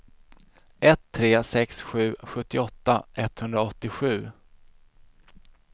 ett tre sex sju sjuttioåtta etthundraåttiosju